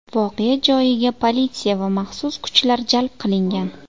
Voqea joyiga politsiya va maxsus kuchlar jalb qilingan.